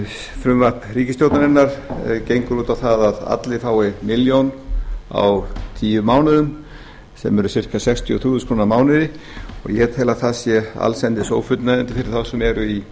frumvarp ríkisstjórnarinnar gengur út á það að allir fái milljón á tíu mánuðum sem eru ca sextíu og þrjú þúsund krónur á mánuði og ég tel að það sé allsendis ófullnægjandi fyrir þá sem eru í